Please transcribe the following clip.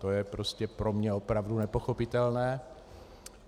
To je prostě pro mě opravdu nepochopitelné.